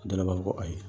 Dɔw b'a fɔ ko ayi